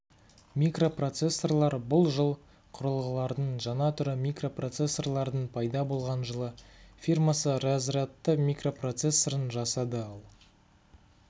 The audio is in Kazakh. микропроцессорлар бұл жыл құрылғылардың жаңа түрі микропроцессорлардың пайда болған жылы фирмасы разрядты микропроцессорын жасады ал